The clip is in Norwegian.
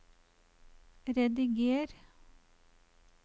rediger